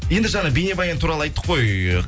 енді жаңа бейнебаян туралы айттық қой